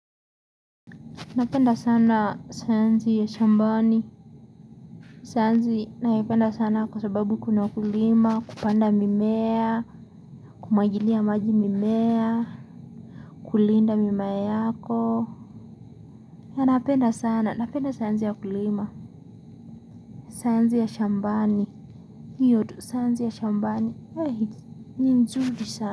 Napenda sana sayansi ya shambani. Sayansi naipenda sana kwa sababu kuna kulima, kupanda mimea, kumwagilia maji mimea, kulinda mimea yako. Napenda sana, napenda sayansi ya kulima. Sayansi ya shambani, hio tu sayansi ya shambani, ni nzuri sana.